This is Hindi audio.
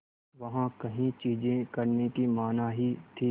वहाँ कई चीज़ें करने की मनाही थी